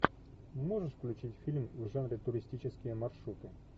можешь включить фильм в жанре туристические маршруты